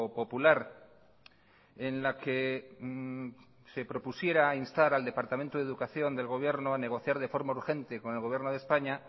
popular en la que se propusiera instar al departamento de educación del gobierno a negociar de forma urgente con el gobierno de españa